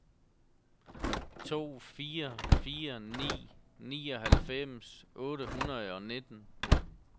to fire fire ni nioghalvfems otte hundrede og nitten